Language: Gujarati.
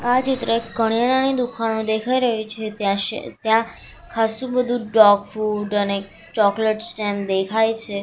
આ ચિત્ર એક કરિયાણાની દુકાનનું દેખાય રહ્યું છે ત્યાં શે ત્યાં ખાસ્સું બધુ ડોગ ફૂડ અને ચોકલેટ સ્ટેન્ડ દેખાય છે.